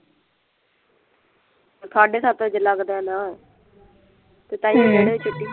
ਸਾਢੇ ਸੱਤ ਵਜੇ ਲੱਗਦਾ ਨਾ ਅਤੇ ਤਾਹੀਉਂ ਡੇਢ ਵਜੇ ਛੁੱਟੀ